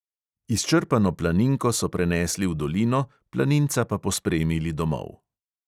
Izčrpano planinko so prenesli v dolino, planinca pa pospremili domov.